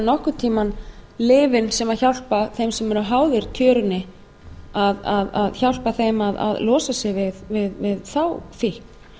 nokkurn tíma lyfin sem hjálpa þeim sem eru háðir tjörunni að losa sig við þá fíkn